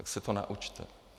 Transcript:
Tak se to naučte.